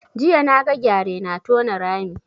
Jiya na ga gyare na tona rami